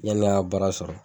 Yann'an ga baara sɔrɔ